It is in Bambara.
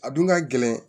A dun ka gɛlɛn